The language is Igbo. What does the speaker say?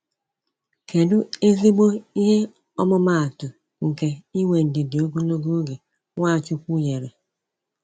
Kedu ezigbo ihe ọmụma atụ nke inwe ndidi ogologo oge Nwachukwu nyere?